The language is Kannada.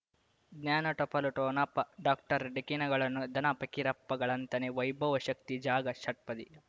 ಜ್ಞಾನ ಟಪಾಲು ಠೊಣಪ ಡಾಕ್ಟರ್ ಢಿಕ್ಕಿ ಣಗಳನು ಧನ ಫಕೀರಪ್ಪ ಗಳಂತಾನೆ ವೈಭವ್ ಶಕ್ತಿ ಝಗಾ ಷಟ್ಪದಿಯ